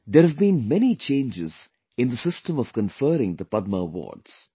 There have been many changes in the system of conferring the Padma awards